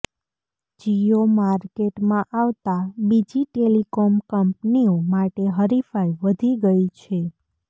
જીયો માર્કેટમાં આવતા બીજી ટેલિકોમ કંપનીઓ માટે હરિફાઈ વધી ગઈ છે